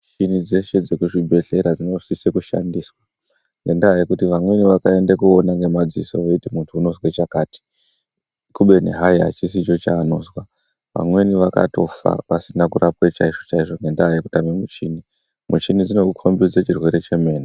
Michini dzese dzekuch8bhedhkera dzinosise kushandiswa ngendaa yekuti vanweni vakaende kunoona nemadziso veyiti muntu jnozwe chakati kubeni haayi achisicho chaanozwa vamweni vakatofa vasine kurapwa chaizvo chaizvo ngendaa yekuda kwemuchini. Michini inokukombidze chirwere chemene.